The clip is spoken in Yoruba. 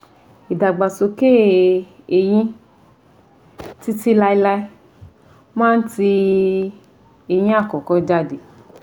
Ìdàgbàsókè eyín títí láéláé máa ń tì eyín àkọ́kọ́ jáde